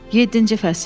Yeddinci fəsil.